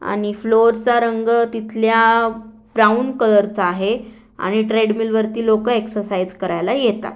आणि फ्लोअर चा रंग तिथल्या ब्राऊन कलर चा आहे आणि ट्रेडमिल वरती लोकं एक्ससाईज करायला येतात.